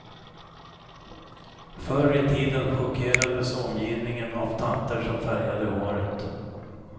Förr i tiden chockerades omgivningen av tanter som färgade håret.